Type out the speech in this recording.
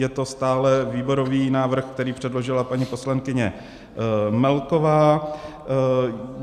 Je to stále výborový návrh, který předložila paní poslankyně Melková.